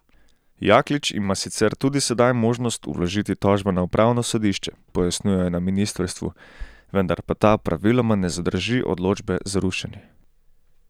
Jaklič ima sicer tudi sedaj možnost vložiti tožbo na upravno sodišče, pojasnjujejo na ministrstvu, vendar pa ta praviloma ne zadrži odločbe za rušenje.